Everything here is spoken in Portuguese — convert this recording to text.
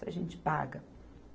Se a gente paga.